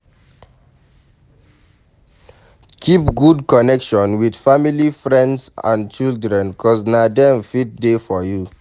Keep good connection with family, friends and children cause na dem fit dey for you